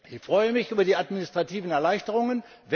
Ich freue mich über die administrativen Erleichterungen.